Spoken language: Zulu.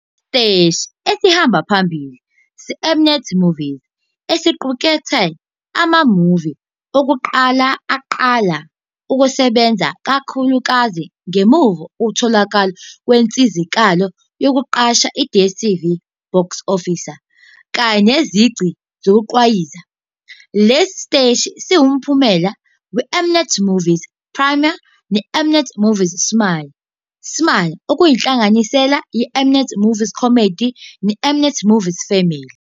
Isiteshi esihamba phambili seM-Net Movies esiqukethe ama-movie okuqala aqala ukusebenza ikakhulukazi ngemuva kokutholakala kwinsizakalo yokuqasha i-DStv BoxOffice, kanye nezici zokugqwayiza. Lesi siteshi siwumphumela weM-Net Movies Premiere neM-Net Movies Smile, Smile okuyinhlanganisela yeM-Net Movies Comedy neM-Net Movies Family.